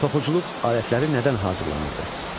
Toxuculuq alətləri nədən hazırlanırdı?